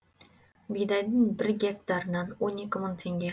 бидайдың бір гектарынан он екі мың теңге